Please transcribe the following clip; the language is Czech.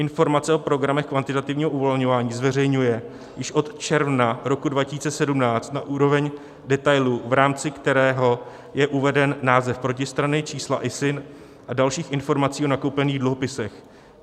Informace o programech kvantitativního uvolňování zveřejňuje již od června roku 2017 na úroveň detailu, v rámci kterého je uveden název protistrany, čísla ISIN a dalších informací o nakoupených dluhopisech.